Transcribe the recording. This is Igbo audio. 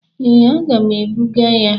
Ee, aga m ebụga ya.